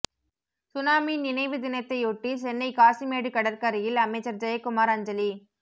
tsunami நினைவு தினத்தையொட்டி சென்னை காசிமேடு கடற்கரையில் அமைச்சர் ஜெயக்குமார் அஞ்சலி